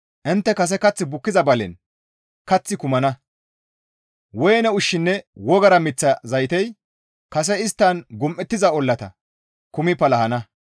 Intte kase kath bukkiza balen kaththi kumana; woyne ushshinne wogara miththa zaytey kase isttan gum7ettiza ollata kumi palahana.